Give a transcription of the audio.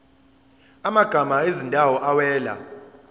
amagama ezindawo awela